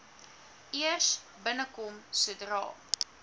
eers binnekom sodra